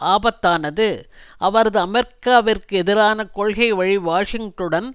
ஆபத்தானது அவரது அமெரிக்காவிற்கு எதிரான கொள்கைவழி வாஷிங்டனுடன்